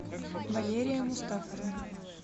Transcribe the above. валерия мустафовна